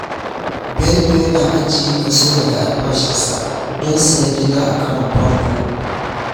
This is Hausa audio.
Bello yana ajiye kaso daga albashinsa don sayen gida a karon farko.